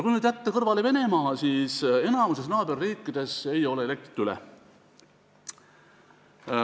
Kui jätta kõrvale Venemaa, siis enamikus naaberriikides ei jää elektrit üle.